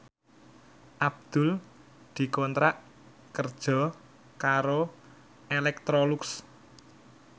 Abdul dikontrak kerja karo Electrolux